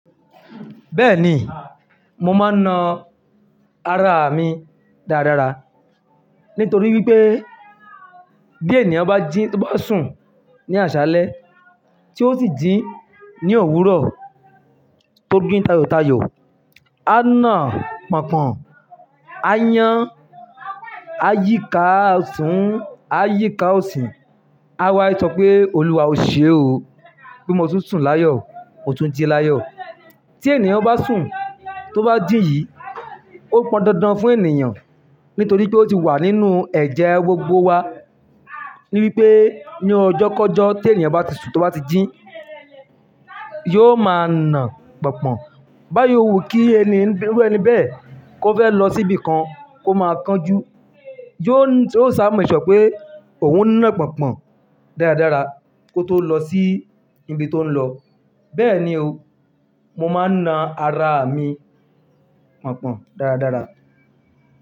Bẹ́ẹ̀ni, mo máa ń na ara mi dáradára nítorí wípé bí ènìyàn bá jí, to bá sùn ní àṣálẹ́ tí ó sì jí ní òwúrọ̀ tó ji tayòtayò, á na pọ̀npọ́n, á yán, á yíka ọ̀tún, á yíka ọ̀sì, á wá sọ pé Òlúwa o ṣe o pé mo tún sùn láyọ̀, ó tún ji láyọ̀. Tí ènìyàn bá sùn, tó bá jí yìí, ó pọn dandan fún ènìyàn nítorí pé ó ti wà nínú ẹ̀jẹ̀ gbogbo wa. Ní bí pé ní ọjọ́kọjọ́ tí ènìyàn bá ti sùn, tó bá ti jín, yóò máa na pọ̀npọ̀n. Bá yíwo kí ẹni bẹ́ẹ̀ kó fẹ́ lọ síbi kan, kó máa kanjú, yóò ṣáá make sure pé òun ń ná pọ̀npọ̀n dáradára kó tó lọ sí ibi tó ń lọ. Bẹ́ẹ̀ni o, mo máa ń na ara mi pọ̀npọ̀n dáradára.